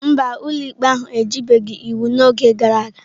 Mba, ụlọikpe ahụ ejibeghị iwu n'oge gara aga.